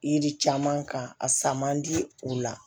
Yiri caman kan a san man di u la